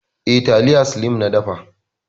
Eh, taliya slim na dafa.